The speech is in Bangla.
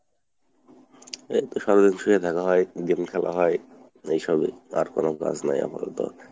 এইতো সারাদিন শুয়ে থাকা হয় game খেলা হয়, এইসবই, আর কোনো কাজ নেই আপাতত।